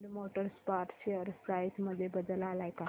Ind motor parts share price मध्ये बदल आलाय का